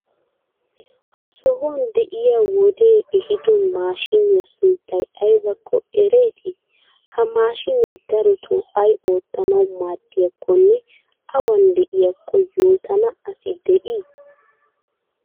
Ha sohuwan de'iya wodee ehiido maashiniya sunttay aybakko ereetii? Ha maashinee darotoo ay oottanawu maaddiyakkonne awan de'iyakko yootana asi de'ii?